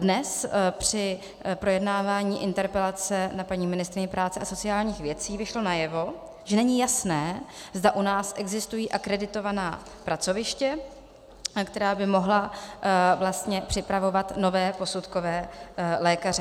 Dnes při projednávání interpelace na paní ministryni práce a sociálních věcí vyšlo najevo, že není jasné, zda u nás existují akreditovaná pracoviště, která by mohla vlastně připravovat nové posudkové lékaře.